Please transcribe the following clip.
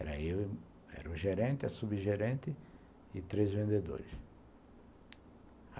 Era eu, era o gerente, a subgerente e três vendedores.